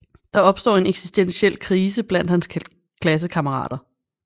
Der opstår en eksistentiel krise blandt hans klassekammerater